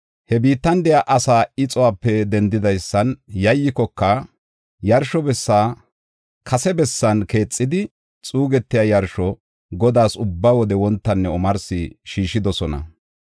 He biittan de7iya asaa ixuwape dendoysan yayyikoka, yarsho bessi kase bessan keexidi, xuu yarsho Godaas ubba wode wontanne omarsi shiishidosona.